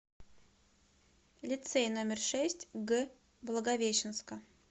лицей номер шесть г благовещенска